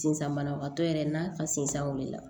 Sisan banabagatɔ yɛrɛ n'a ka sinzan wulila